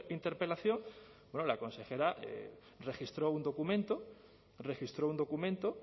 interpelación la consejera registró un documento registró un documento